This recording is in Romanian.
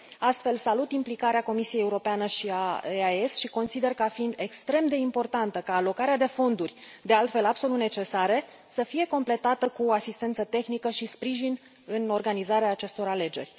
Astfel, salut implicarea Comisiei Europene și a EEAS și consider ca fiind extrem de important ca alocarea de fonduri, de altfel absolut necesare, să fie completată cu asistență tehnică și sprijin în organizarea acestor alegeri.